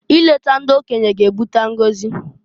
I leta ndi okenye g'ebuta ngozi.